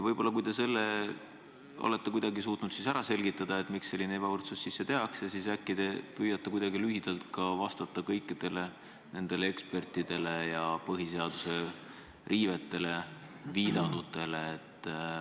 Kui te selle olete kuidagi suutnud ära selgitada, miks selline ebavõrdsus sisse viiakse, siis äkki te püüate lühidalt vastata kõikidele nendele ekspertidele, põhiseaduse riivetele viidanutele.